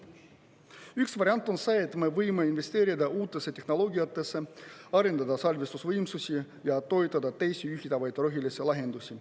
Üks variant on see, et me võime investeerida uutesse tehnoloogiatesse, arendada salvestusvõimsusi ja toetada teisi ühildatavaid rohelahendusi.